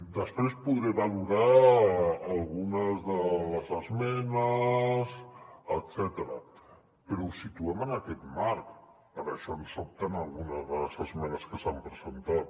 després podré valorar algunes de les esmenes etcètera però ho situem en aquest marc per això em sobten algunes de les esmenes que s’han presentat